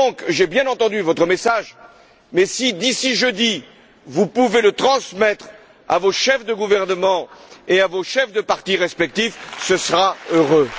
J'ai bien entendu votre message mais si, d'ici jeudi, vous pouviez le transmettre à vos chefs de gouvernements et à vos chefs de partis respectifs, ce serait heureux.